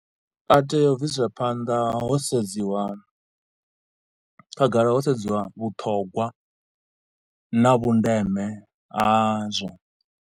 A tea u bviselwa phanḓa ho sedziwa khagala ho sedziwa vhuṱhogwa na vhundeme hazwo.